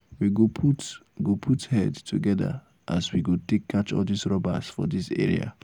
we go put go put head together talk as we go take catch all dis robbers for dis area.